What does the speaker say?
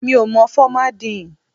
Mi ò mọ fọ́má díì ǹ.